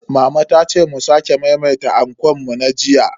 Mama ta ce mu sake maimaita ankon mu na jiya.